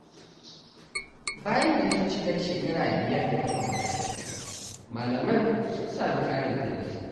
Bayan bikin cikar shekara biyar da kafa makaranta, malaman sun sami ƙarin tallafi.